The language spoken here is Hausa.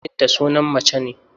Binta sunan mace ne.